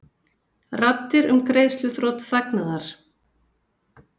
Raddir um greiðsluþrot þagnaðar